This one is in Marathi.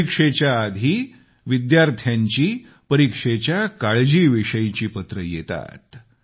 परीक्षेच्या आधी विद्यार्थ्याची परीक्षेच्या काळजीविषयीची पत्र येतात